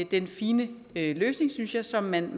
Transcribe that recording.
den fine løsning synes jeg som man